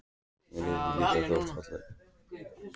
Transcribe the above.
Mér hafði líka þótt það fallegt.